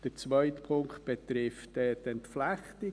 Der zweite Punkt betrifft die Entflechtung.